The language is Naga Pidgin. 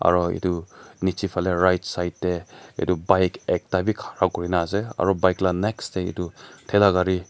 aro itu niche fali right side teh itu pike ekta bi khara kurina ase aro bike lah next teh itu thela gari--